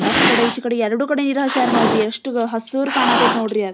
ಆಚ್ಕಡೆ ಇಚ್ಕಡೆ ಎರಡು ಕಡೆ ನೀರು ಹಚ್ಚರ ನೋಡ್ರಿ ಎಷ್ಟು ಹಸೀರ್ ಕಾಣಕತತೆ ನೋಡ್ರಿ --